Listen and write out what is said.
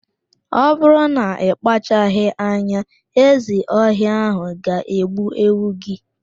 Ọ bụrụ na ị kpachaghị anya, ezi ọhịa ạhụ ga-egbu ewu gị.